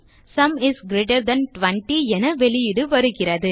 sum is greater than 20 என வெளியீடு வருகிறது